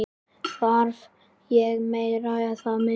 Þarf ég meira eða minna?